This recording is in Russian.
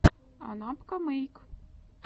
анапкамэйк